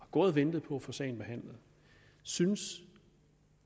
gået og ventet på at få sagen behandlet synes